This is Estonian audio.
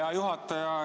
Hea juhataja!